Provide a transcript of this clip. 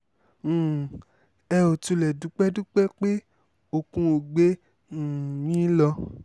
um ẹ ó tilẹ̀ dúpẹ́ dúpẹ́ pé okùn ò gbé um yín lọ